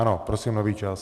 Ano, prosím nový čas.